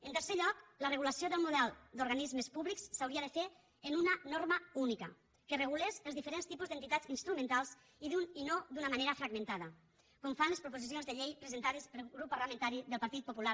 en tercer lloc la regulació del model d’organismes públics s’hauria de fer en una norma única que regulés els diferents tipus d’entitats instrumentals i no d’una manera fragmentada com fan les proposicions de llei presentades pel grup parlamentari del partit popular